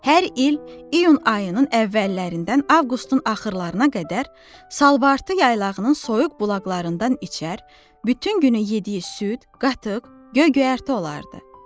Hər il iyun ayının əvvəllərindən avqustun axırlarına qədər salvartı yaylağının soyuq bulaqlarından içər, bütün günü yediyi süd, qatıq, göy-göyərti olardı.